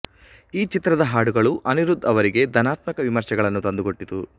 ಈ ಚಿತ್ರದ ಹಾಡುಗಳು ಅನಿರುಧ್ ಅವರಿಗೆ ಧನಾತ್ಮಕ ವಿಮರ್ಶೆಗಳನ್ನು ತಂದುಕೊಟ್ಟಿತು